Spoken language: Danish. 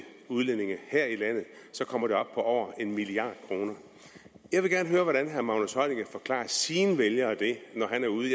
udlændinge her i landet så kommer det op på en milliard kroner jeg gerne høre hvordan herre magnus heunicke forklarer sine vælgere det når han er ude